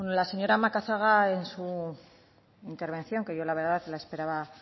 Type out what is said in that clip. la señora macazaga en su intervención que yo la verdad la esperaba